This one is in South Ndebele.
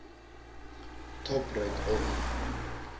top right of